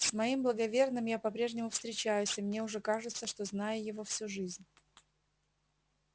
с моим благоверным я по-прежнему встречаюсь и мне уже кажется что знаю его всю жизнь